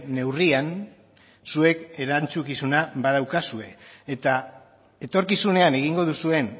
neurrian zuek erantzukizuna badaukazue eta etorkizunean egingo duzuen